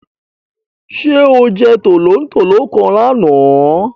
Sé o je tòlótòló kan lánàá?